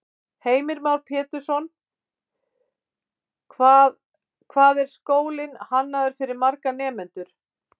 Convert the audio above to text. Heimir Már Pétursson: Hvað, hvað er skólinn hannaður fyrir marga nemendur?